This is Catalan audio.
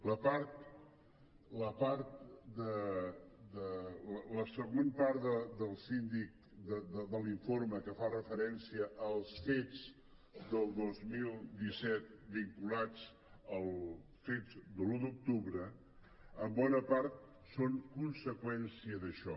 la següent part de l’informe del síndic que fa referència als fets del dos mil disset vinculats als fets de l’un d’octubre en bona part són conseqüència d’això